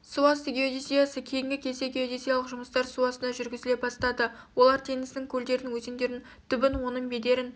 су асты геодезиясы кейінгі кезде геодезиялық жұмыстар су астында жүргізіле бастады олар теңіздің көлдердің өзендердің түбін оның бедерін